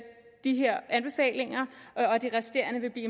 de her anbefalinger og at de resterende vil blive